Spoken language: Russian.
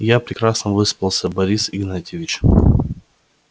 я прекрасно выспался борис игнатьевич